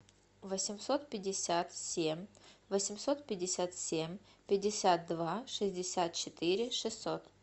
восемьсот пятьдесят семь восемьсот пятьдесят семь пятьдесят два шестьдесят четыре шестьсот